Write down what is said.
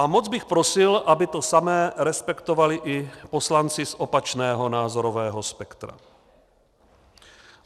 A moc bych prosil, aby to samé respektovali i poslanci z opačného názorového spektra.